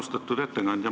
Austatud ettekandja!